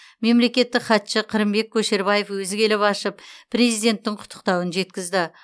мемлекеттік хатшы қырымбек көшербаев өзі келіп ашып президенттің құттықтауын жеткізді